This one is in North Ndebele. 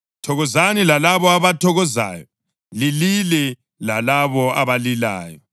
Thokozani lalabo abathokozayo, lilile lalabo abalilayo.